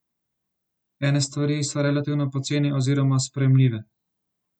Ene stvari so relativno poceni oziroma sprejemljive.